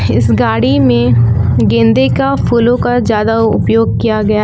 इस गाड़ी में गेंदे का फूलों का ज्यादा उपयोग किया गया है।